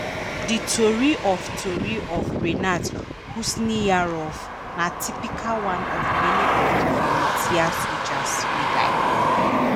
di tori of tori of rinat khusniyarov na typical one of many of di volunteer soldiers wey die.